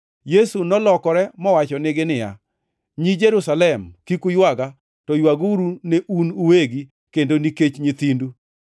Yesu nolokore mowachonegi niya, “Nyi Jerusalem, kik uywaga, to ywaguru ne un uwegi kendo nikech nyithindu.